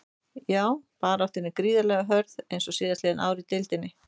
Já baráttan er gríðarlega hörð eins og síðastliðin ár í deildinni.